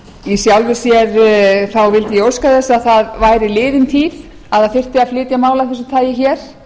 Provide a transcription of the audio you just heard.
í sjálfu sér vildi ég óska þess að það væri liðin tíð að það þyrfti að flytja mál af þessu tagi hér